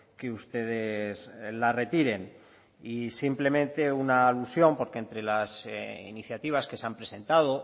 que ustedes la retiren y simplemente una alusión porque entre las iniciativas que se han presentado